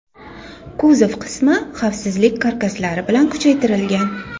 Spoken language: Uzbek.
Kuzov qismi xavfsizlik karkaslari bilan kuchaytirilgan.